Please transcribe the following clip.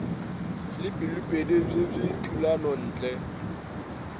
le pelopedi bj bj thulanontle